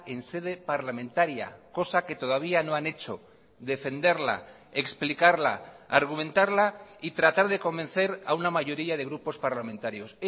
en sede parlamentaria cosa que todavía no han hecho defenderla explicarla argumentarla y tratar de convencer a una mayoría de grupos parlamentarios